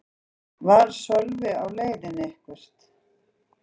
Var Sölvi á leiðinni eitthvert?